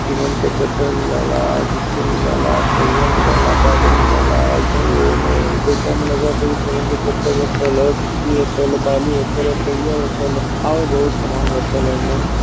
Cement पे चद्दर मिलल ह गिट्टी मिलल ह सरिया मिलल ह बालू मिलल ह ऐसही एहू में देखे में लगत ह कि सीमेंट के चद्दर रखल ह गिट्टी रखल ह बालू रखल ह सरिया राखल ह और बहुत सामान रखल ह एमन।